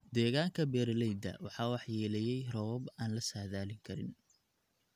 Deegaanka beeralayda waxaa waxyeeleeyay roobab aan la saadaalin karin.